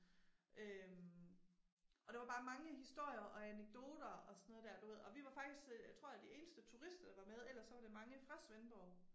Øh. Og der var bare mange historier og anekdoter og sådan noget der du ved og vi var faktisk tror jeg de eneste turister der var med ellers så var det mange fra Svendborg